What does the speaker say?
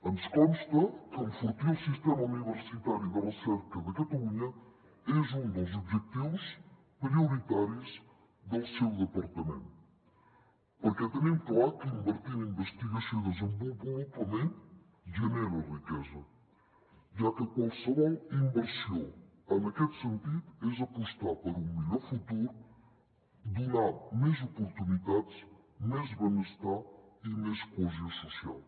ens consta que enfortir el sistema universitari de recerca de catalunya és un dels objectius prioritaris del seu departament perquè tenim clar que invertir en investigació i desenvolupament genera riquesa ja que qualsevol inversió en aquest sentit és apostar per un millor futur donar més oportunitats més benestar i més cohesió social